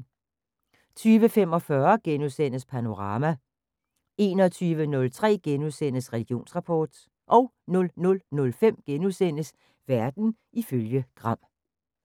20:45: Panorama * 21:03: Religionsrapport * 00:05: Verden ifølge Gram *